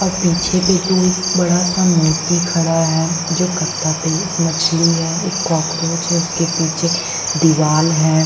और पीछे पे तो एक बड़ा सा मूर्ति खड़ा है। जो कत्था पे एक मछली है एक कॉकरोच है उसके पीछे दीवाल है।